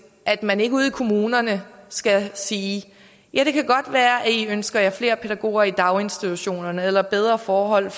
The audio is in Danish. at man ikke ude i kommunerne skal sige ja det kan godt være at i ønsker jer flere pædagoger i daginstitutionerne eller bedre forhold